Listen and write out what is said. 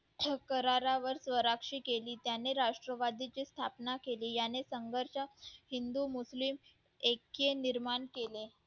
करारावर स्वराक्षी केली त्यांनी राष्ट्रवादीची स्थापना केले याने संघर्ष एकी निर्माण केली